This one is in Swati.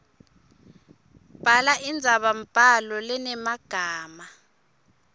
bhala indzabambhalo lenemagama